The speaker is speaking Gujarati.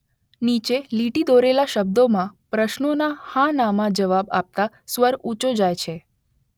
નીચે લીટી દોરેલા શબ્દોમાં પ્રશ્નોના હા ના માં જવાબ આપતાં સ્વર ઊંચો જાય છે.